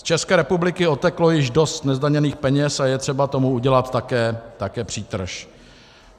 Z České republiky odteklo již dost nezdaněných peněz a je třeba tomu udělat také přítrž.